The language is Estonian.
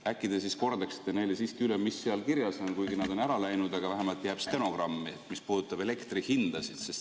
Äkki te kordate neile siiski üle, mis seal kirjas on, kuigi nad on ära läinud, aga vähemalt jääb stenogrammi see, mis puudutab elektrihindasid.